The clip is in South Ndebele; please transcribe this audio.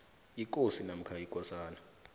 ikosi namkha ikosana